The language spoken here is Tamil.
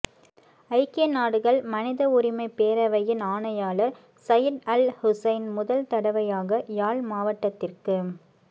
ஐக்கிய நாடுகள் மனித உரிமைப் பேரவையின் ஆணையாளர் சயிட் அல் ஹூசெய்ன் முதல் தடவையாக யாழ் மாவட்டத்திற்கு